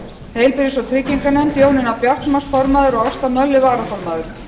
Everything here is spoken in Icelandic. heilbrigðis og trygginganefnd jónína bjartmarz formaður og ásta möller varaformaður